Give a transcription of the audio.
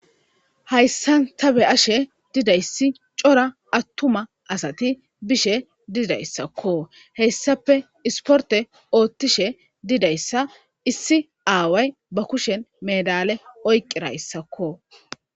hayssan ta be'ashe didayssi cora attuma asati bishe didayssakko heyssape isporte oottishe didayssa issi aaway ba kushen medale oyqirayssakko